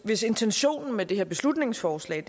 hvis intentionen med det her beslutningsforslag